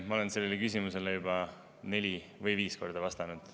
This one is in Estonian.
Ma olen sellele küsimusele juba neli või viis korda vastanud.